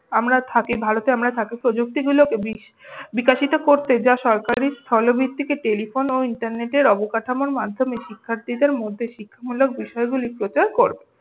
আমরা থাকি ভারতে এই প্রযুক্তিগুলোকে বিকশিত করতে যা সরকারি স্থল্ভিত্তিতে টেলিফোন ও ইন্টারনেটের অবকাঠামোর মাধ্যমে শিক্ষার্থীদের মধ্যে শিখামূলক বিশয়গুলি প্রচার কর।